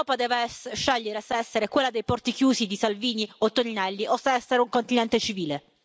L'Europa deve scegliere se essere quella dei porti chiusi di Salvini e Toninelli o se essere un continente civile.